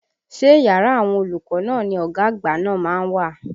Ṣé yàrá àwọn olùkọ́ náà ni ọ̀gá àgbà náà má ń wà?